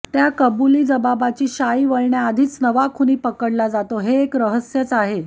त्या कबुलीजबाबाची शाई वाळण्याआधीच नवा खुनी पकडला जातो हे एक रहस्यच आहे